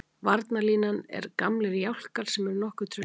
Varnarlínan er gamlir jálkar sem eru nokkuð traustir.